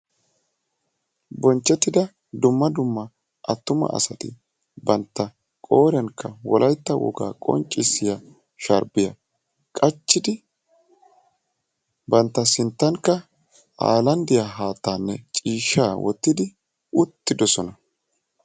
binchchetidda dumma dumma attuma asati banta qooriyaankka wolayttaa woga qonccissiyaa sharbbiyya qachchidi bantta sinttankka hayilanddiyaa haattanne ciishshaa wottidi uttidoosona.